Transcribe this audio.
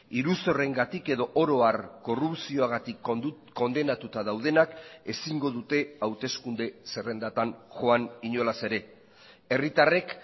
iruzurrengatik edo oro har korrupzioagatik kondenatuta daudenak ezingo dute hauteskunde zerrendatan joan inolaz ere herritarrek